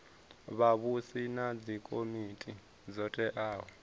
vhavhusi na dzikomiti dzo teaho